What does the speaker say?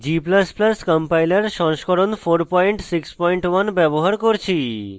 g ++ compiler সংস্করণ 461 ব্যবহার করছি